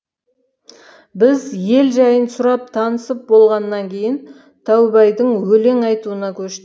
біз ел жайын сұрап танысып болғаннан кейін таубайдың өлең айтуына көштік